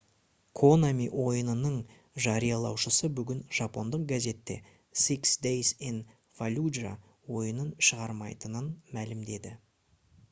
konami ойынының жариялаушысы бүгін жапондық газетте six days in fallujah ойынын шығармайтынын мәлімдеді